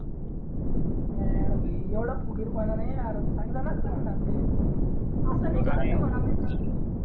काय यार भाई एवढा फुगीरपणा नाही यार चांगला चांगलं नसतं म्हणा ते असं नाही करायचं म्हणा मित्राला